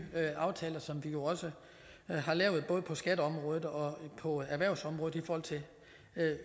aftaler som vi jo også har lavet både på skatteområdet og og erhvervsområdet i forhold til